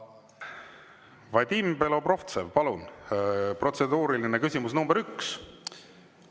Vadim Belobrovtsev, palun, protseduuriline küsimus nr 1!